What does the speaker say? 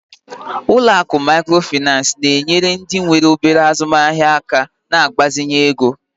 Ụlọ akụ Mikrofaịnsi na-enye ndị nwe obere azụmaahịa aka na mgbazinye ego